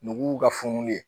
N'u y'u ka funu ye